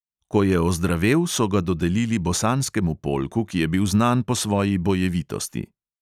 Ko je ozdravel, so ga dodelili bosanskemu polku, ki je bil znan po svoji bojevitosti.